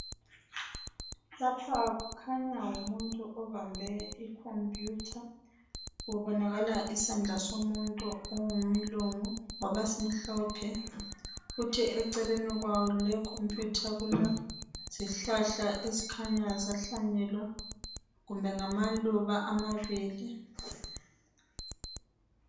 Lapha kukhanya ngumuntu obambe ikhompuyutha kubonakala isandla somuntu ongumlungu ngoba simhlophe kuthi eceleni kwawo lokhu mpikitsha kulezihlahla ezikhanya zahlanyelwa kumbe ngamaluba amabili.